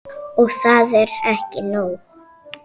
Og það er ekki nóg.